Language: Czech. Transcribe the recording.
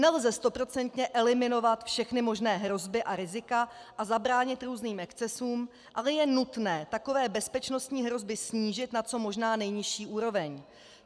Nelze stoprocentně eliminovat všechny možné hrozby a rizika a zabránit různým excesům, ale je nutné takové bezpečnostní hrozby snížit na co možná nejnižší úroveň.